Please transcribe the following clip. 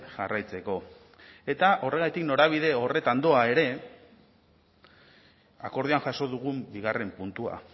jarraitzeko eta horregatik norabide horretan doa ere akordioan jaso dugun bigarren puntua